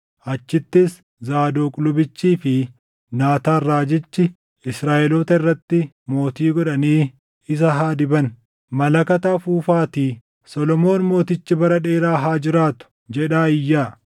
Achittis Zaadoq lubichii fi Naataan raajichi Israaʼeloota irratti mootii godhanii isa haa diban. Malakata afuufaatii, ‘Solomoon mootichi bara dheeraa haa jiraatu!’ jedhaa iyyaa.